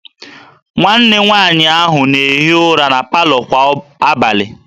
Nwanne nwaanyị ahụ na-ehi ụra na palọ kwa abalị